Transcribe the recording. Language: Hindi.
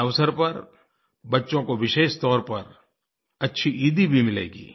इस अवसर पर बच्चों को विशेष तौर पर अच्छी ईदी भी मिलेगी